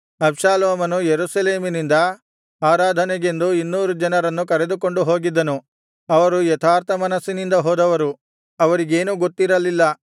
ಅಬ್ಷಾಲೋಮನು ಯೆರೂಸಲೇಮಿನಿಂದ ಆರಾಧನೆಗೆಂದು ಇನ್ನೂರು ಜನರನ್ನು ಕರೆದುಕೊಂಡು ಹೋಗಿದ್ದನು ಅವರು ಯಥಾರ್ಥ ಮನಸ್ಸಿನಿಂದ ಹೋದವರು ಅವರಿಗೇನೂ ಗೊತ್ತಿರಲಿಲ್ಲ